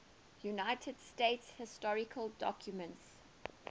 united states historical documents